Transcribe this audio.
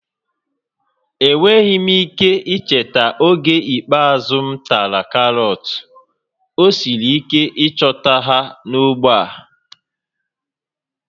Enweghị m ike icheta oge ikpeazụ m tara karọt, ọ siri ike ịchọta ha n'ógbè a